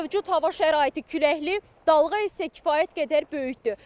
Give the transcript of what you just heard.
Mövcud hava şəraiti küləkli, dalğa isə kifayət qədər böyükdür.